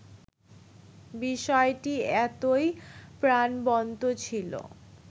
বিষয়টি এতোই প্রাণবন্ত ছিল